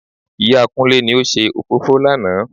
Ìyá Kúnlé ni ó ṣe òfófó lánà